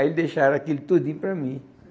Aí eles deixaram aquilo tudinho para mim.